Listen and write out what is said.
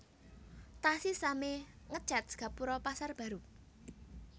Taksih sami ngecet gapuro Pasar Baru